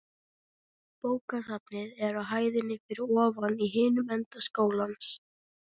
Bókasafnið er á hæðinni fyrir ofan í hinum enda skólans.